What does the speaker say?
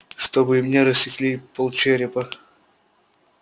чтобы и мне рассекли полчерепа